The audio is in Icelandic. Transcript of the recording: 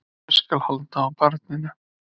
Ég skal halda á barninu.